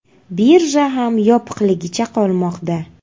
Birja ham yopiqligicha qolmoqda.